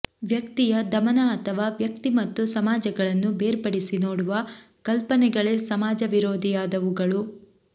ವ್ಯಕ್ತಿಯ ದಮನ ಅಥವಾ ವ್ಯಕ್ತಿ ಮತ್ತು ಸಮಾಜಗಳನ್ನು ಬೇರ್ಪಡಿಸಿ ನೋಡುವ ಕಲ್ಪನೆಗಳೇ ಸಮಾಜ ವಿರೋಧಿಯಾದವುಗಳು